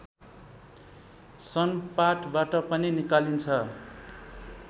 सनपाटबाट पनि निकालिन्छ